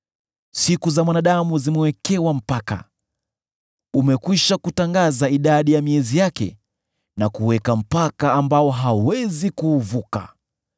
Siku za mwanadamu zimewekewa mpaka; umekwisha kutangaza idadi ya miezi yake na kuweka mpaka ambao hawezi kuuvuka.